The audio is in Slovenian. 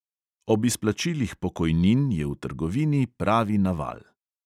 Ob izplačilih pokojnin je v trgovini pravi naval.